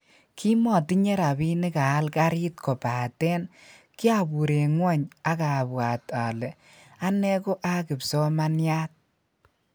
kimmotinye rapinik aal karit kopaten kiapur en ngwony ag abwat ale ane ko a kimpsomaniat